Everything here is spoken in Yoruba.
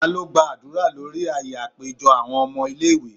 talo gba adura lori aaye apejọ awọn ọmọ ile-iwe?